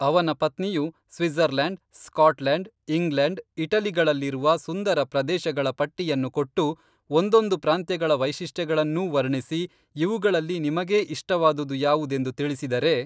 ಅವನ ಪತ್ನಿಯು Switzerland, Scotland, England, ಇಟಲಿಗಳಲ್ಲಿರುವ ಸುಂದರ ಪ್ರದೇಶಗಳ ಪಟ್ಟಿಯನ್ನು ಕೊಟ್ಟು ಒಂದೊಂದು ಪ್ರಾಂತ್ಯಗಳ ವೈಶಿಷ್ಟ್ಯಗಳನ್ನೂ ವರ್ಣಿಸಿ ಇವುಗಳಲ್ಲಿ ನಿಮಗೇ ಇಷ್ಟವಾದುದುಯಾವುದೆಂದು ತಿಳಿಸಿದರೆ